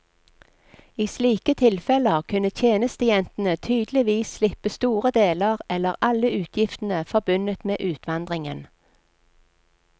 I slike tilfeller kunne tjenestejentene tydeligvis slippe store deler eller alle utgiftene forbundet med utvandringen.